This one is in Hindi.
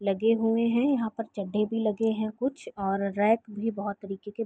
लगे हुए है यहाँ पे चड्डे भी लगे है कुछ और रैक भी बोहत तरीके के--